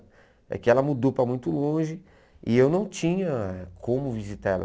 É que ela mudou para muito longe e eu não tinha como visitar ela.